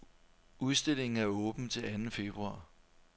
Udstillingen er åben til anden februar.